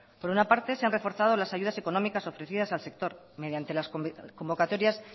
por una parte se han reforzado las ayudas económicas ofrecidas al sector mediante las convocatorias